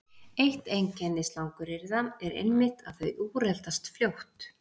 Eitt einkenni slanguryrða er einmitt að þau úreldast fljótt.